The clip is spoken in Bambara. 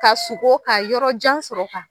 Ka sugon k'a yɔrɔ jan sɔrɔ ka